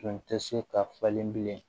Tun tɛ se ka falen bilen